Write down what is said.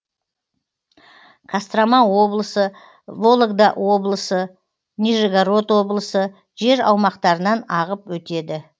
кострома облысы вологда облысы нижегород облысы жер аумақтарынан ағып өтеді